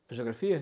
A geografia?